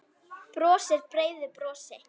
Brosir breiðu brosi.